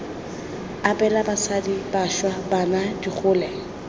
abela basadi bašwa bana digole